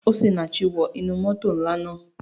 Osinachi wọ inú moto nla naa.